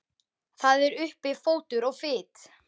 Það er uppi fótur og fit.